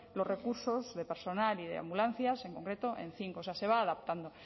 los recursos de personal y de ambulancias en concreto en cinco o sea se va adaptando